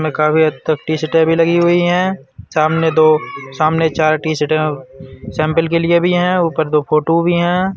काफी हद तक टी-शर्टें भी लगी हुई हैं। सामने दो सामने चार टीशर्टे सैंपल के लिए भी हैं ऊपर दो फ़ोटू भी हैं।